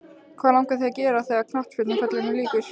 Hvað langar þig að gera þegar að knattspyrnuferlinum líkur?